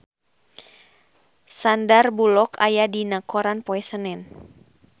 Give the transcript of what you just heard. Sandar Bullock aya dina koran poe Senen